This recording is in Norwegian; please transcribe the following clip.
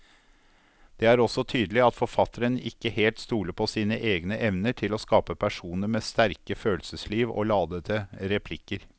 Det er også tydelig at forfatteren ikke helt stoler på sine egne evner til å skape personer med sterke følelsesliv og ladete replikker.